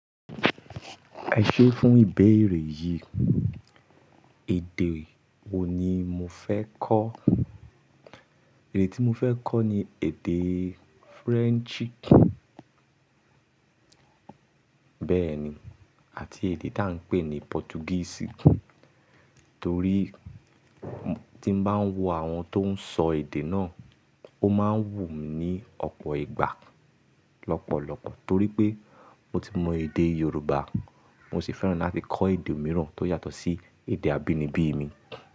Ẹ ṣé fún ìbéèrè yìí, èdè wo ni mo fẹ́ kọ́? Èdè tí mo fẹ́ kọ́ ni èdè Firensi. Bẹ́ẹ̀ni, àti èdè tá ń pè ní Potugisi torí tí mo bá ń wo àwọn tó ń sọ èdè náà, ó máa ń wù mí ní ọ̀pọ̀ ìgbà lọ́pọ̀lọpọ̀ torí pé mo ti mọ èdè Yorùbá, mo sì fẹ́ràn láti kọ́ èdè mìíràn tó yàtọ̀ sí èdè abínibí mi.